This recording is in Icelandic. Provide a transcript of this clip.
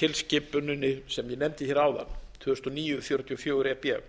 tilskipuninni sem ég nefndi hér áðan tvö þúsund og níu fjörutíu og fjögur e b